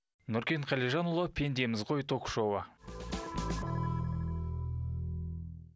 нұркен қалижанұлы пендеміз ғой ток шоуы